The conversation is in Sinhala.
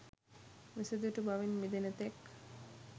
මිසදිටු බවින් මිදෙන තෙක්